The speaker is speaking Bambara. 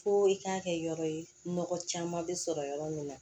Fo i k'a kɛ yɔrɔ ye nɔgɔ caman bɛ sɔrɔ yɔrɔ min na